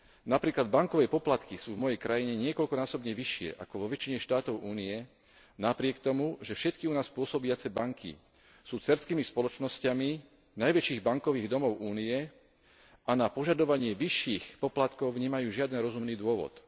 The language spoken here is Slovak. Napríklad bankové poplatky sú v mojej krajine niekoľkonásobne vyššie ako vo väčšine štátov Únie napriek tomu, že všetky u nás pôsobiace banky sú dcérskymi spoločnosťami najväčších bankových domov Únie a na požadovanie vyšších poplatkov nemajú žiaden rozumný dôvod.